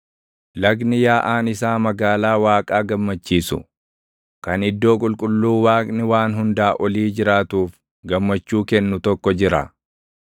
Lagni yaaʼaan isaa magaalaa Waaqaa gammachiisu kan iddoo qulqulluu Waaqni Waan Hundaa Olii jiraatuuf // gammachuu kennu tokko jira.